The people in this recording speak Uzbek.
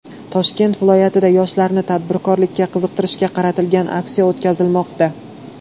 Toshkent viloyatida yoshlarni tadbirkorlikka qiziqtirishga qaratilgan aksiya o‘tkazilmoqda.